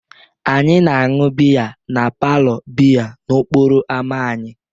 Anyị na-aṅụ biya na palour biya n'okporo ámá anyị.